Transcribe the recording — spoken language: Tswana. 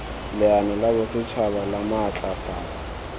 leano la bosetšhaba la maatlafatso